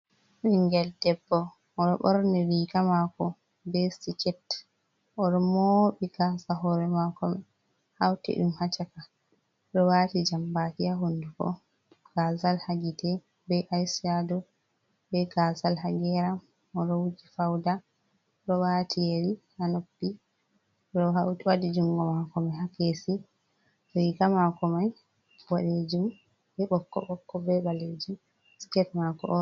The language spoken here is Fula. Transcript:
Ɓinngel debbo, o ɗo ɓorni riga maako, be siket. O ɗo mooɓi gaasa hoore maako may, hawti ɗum haa caka o ɗo waati jambaaki haa hunnduko, gaazal haa gite, be aycaado, be gaasal haa geeram, o ɗo wuji fawda, o ɗo waati yeri haa noppi, o ɗo waɗi junngo maako ni haa keesi, vika maako may baɗeejum, be ɓokko-ɓokko be ɓaleejum, siket maako.